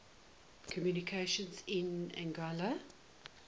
communications in anguilla